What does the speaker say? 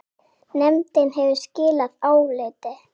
Nefndin hefur skilað áliti.